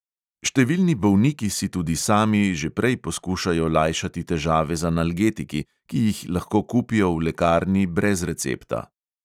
Številni bolniki si tudi sami že prej poskušajo lajšati težave z analgetiki, ki jih lahko kupijo v lekarni brez recepta.